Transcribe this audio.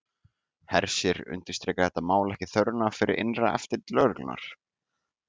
Hersir, undirstrikar þetta mál ekki þörfina fyrir innra eftirlit lögreglunnar?